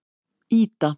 Ída